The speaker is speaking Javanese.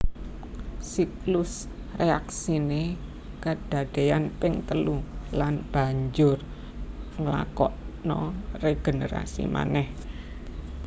Siklus réaksiné kedadéyan ping telu lan banjur nglakokna régenerasi manéh